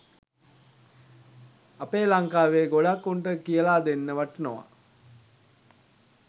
අපේ ලංකාවේ ගොඩක් උන්ට කියලා දෙන්න වටිනවා